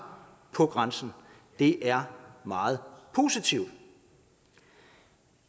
på grænsen det er meget positivt